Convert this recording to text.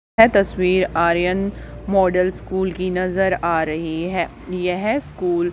यह तस्वीर Aryan model school की नजर आ रही है यह स्कूल --